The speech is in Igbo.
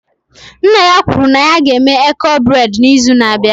Nna ya kwuru na ya ga-enwe eko breị́d n'izu na-abịa